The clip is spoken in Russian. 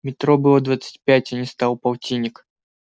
метро было двадцать пять а стало полтинник